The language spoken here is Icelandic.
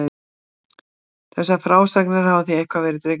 Þessar frásagnir hafa því eitthvað verið dregnar í efa.